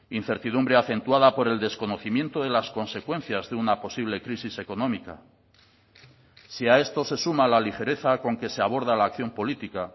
incertidumbre acentuada por el desconocimiento de las consecuencias de una posible crisis económica si a esto se suma la ligereza con que se aborda la acción política